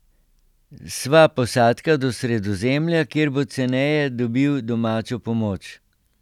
Sva posadka do Sredozemlja, kjer bo ceneje dobil domačo pomoč.